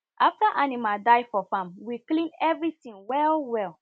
after animal die for farm we clean everything well well